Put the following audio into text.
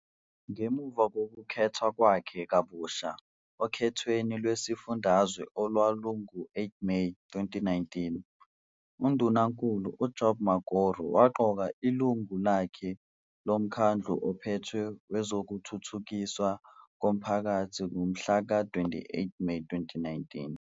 Ngemuva kokukhethwa kwakhe kabusha okhethweni lwesifundazwe olwalungo-8 Meyi 2019, uNdunankulu uJob Mokgoro waqoka iLungu lakhe loMkhandlu oPhethe wezokuThuthukiswa koMphakathi ngomhlaka 28 Meyi 2019.